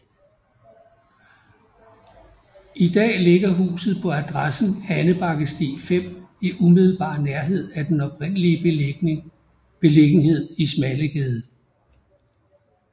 I dag ligger huset på adressen Andebakkesti 5 i umiddelbar nærhed af den oprindelige beliggenhed i Smallegade